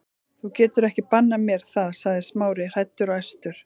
Þú getur ekki bannað mér það- sagði Smári, hræddur og æstur.